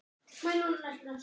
Það er ekki það sem ég vil.